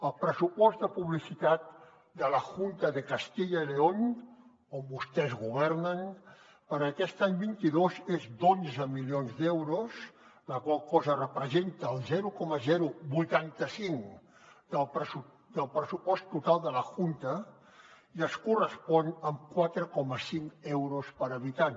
el pressupost de publicitat de la junta de castilla y león on vostès governen per a aquest any vint dos és d’onze milions d’euros la qual cosa representa el zero coma vuitanta cinc del pressupost total de la junta i es correspon amb quatre coma cinc euros per habitant